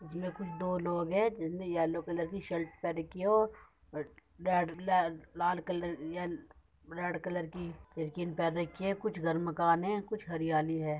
इसमें कुछ दो लोग हैं जिसने येलो कलर की शर्ट पहनी रखी है और लाल कलर कि या लाड कलर रेड कलर की स्किन पहन रखी है। कुछ घर मकान हैं। कुछ हरियाली हैं।